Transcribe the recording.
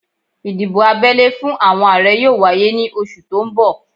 Ìdìbò abẹ́lé fún àwọn Ààrẹ yóò wáyé ní oṣù tó ń bọ̀